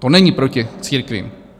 To není proti církvím.